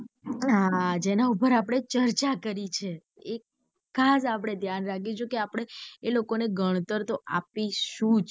હા જેના ઉપર આપડે ચર્ચા કરી છે એ ખાસ આપડે ધ્યાન રાખીશુ કે આપડે એ લોકો ને ગણતર તો આપી સુજ.